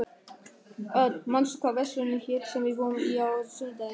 Örn, manstu hvað verslunin hét sem við fórum í á sunnudaginn?